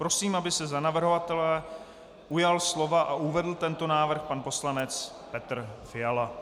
Prosím, aby se za navrhovatele ujal slova a uvedl tento návrh pan poslanec Petr Fiala.